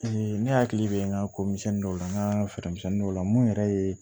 ne hakili bɛ n ka ko misɛnnin dɔw la n ka feere misɛnnin dɔw la mun yɛrɛ ye